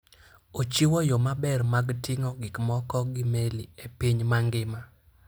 Ochiwo yo maber mar ting'o gik moko gi meli e piny mangima.